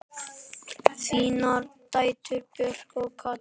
Þínar dætur, Björg og Katrín.